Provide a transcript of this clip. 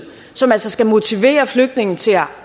som altså skal motivere flygtninge til at